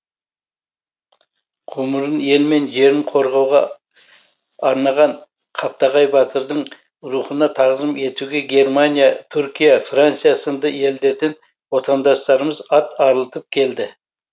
ғұмырын ел мен жерін қорғауға арнаған қаптағай батырдың рухына тағзым етуге германия түркия франция сынды елдерден отандастарымыз ат арылтып келді